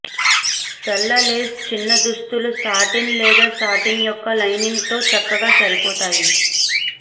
తెల్ల లేస్ చిన్న దుస్తులు సాటిన్ లేదా శాటిన్ యొక్క లైనింగ్తో చక్కగా సరిపోతాయి